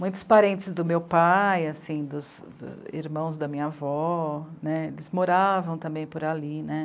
Muitos parentes do meu pai, assim, dos irmãos da minha avó né, eles moravam também por ali, né.